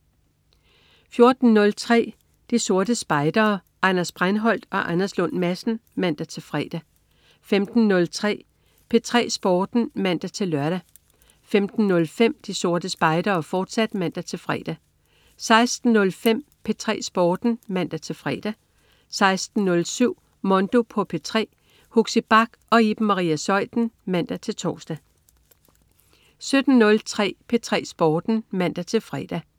14.03 De Sorte Spejdere. Anders Breinholt og Anders Lund Madsen (man-fre) 15.03 P3 Sporten (man-lør) 15.05 De Sorte Spejdere, fortsat (man-fre) 16.05 P3 Sporten (man-fre) 16.07 Mondo på P3. Huxi Bach og Iben Maria Zeuthen (man-tors) 17.03 P3 Sporten (man-fre)